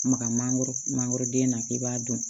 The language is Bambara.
Maga mangoro mangoroden na k'i b'a dun